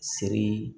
Sirii